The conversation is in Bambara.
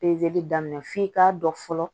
Pezeli daminɛ f'i k'a dɔn fɔlɔ